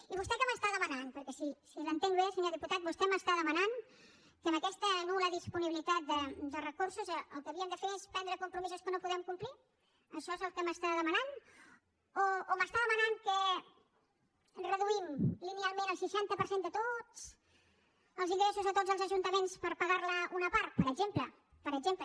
i vostè què m’està demanant perquè si l’entenc bé senyor diputat vostè m’està demanant que amb aquesta nul·la disponibilitat de recursos el que havíem de fer és prendre compromisos que no podem complir això és el que m’està demanant o m’està demanant que reduïm linealment el seixanta per cent de tots els ingressos a tots els ajuntaments per pagar ne una part per exemple per exemple